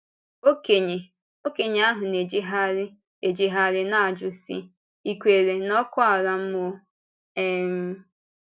Ọkénye Ọkénye ahụ na-ejégharị-éjégharị na-ajụzi, sị, ‘Ì kwèrè n’ọkụ̀ àlà mmụọ?’ um